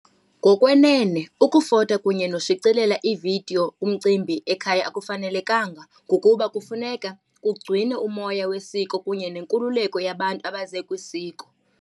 Ngokwenene ukufota kunye noshicilela ividiyo kumcimbi ekhaya akufanelekanga ngokuba kufuneka kugcinwe umoya wesiko kunye nenkululeko yabantu abaze kwisiko.